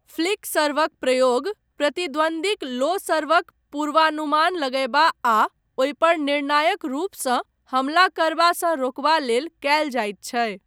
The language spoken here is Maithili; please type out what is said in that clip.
फ्लिक सर्वक प्रयोग प्रतिद्वन्दीक लो सर्वक पूर्वानुमान लगयबा आ ओहिपर निर्णायक रूपसँ हमला करबासँ रोकबा लेल कयल जाइत छै।